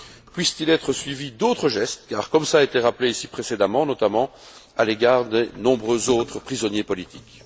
Puisse t il être suivi d'autres gestes, comme cela a été rappelé ici précédemment, notamment à l'égard de nombreux autres prisonniers politiques.